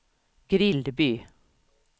Grillby